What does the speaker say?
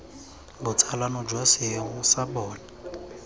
botsalano jwa seemo sa bona